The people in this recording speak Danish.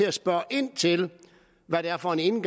at spørge ind til hvad det er for en